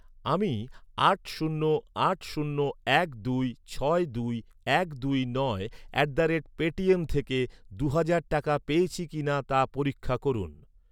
আমি আট শূন্য আট শূন্য এক দুই ছয় দুই এক দুই নয় অ্যাট দ্য রেট পেটিএম থেকে দু' হাজার টাকা পেয়েছি কিনা তা পরীক্ষা করুন।